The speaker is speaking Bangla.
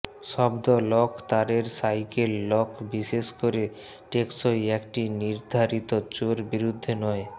শব্দ লক তারের সাইকেল লক বিশেষ করে টেকসই একটি নির্ধারিত চোর বিরুদ্ধে নয়